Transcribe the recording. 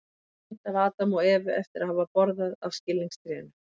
Mynd af Adam og Evu eftir að hafa borðað af skilningstrénu.